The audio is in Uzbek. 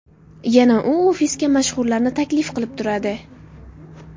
Yana u ofisga mashhurlarni taklif qilib turadi.